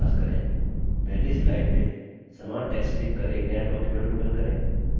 पहली slide में समान text लिखकर एक नया document open करें